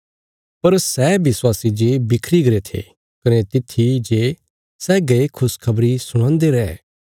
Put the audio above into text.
पर सै विश्वासी जे बिखरी गरे थे कने तित्थी जे सै गये खुशखबरी सुणांदे रै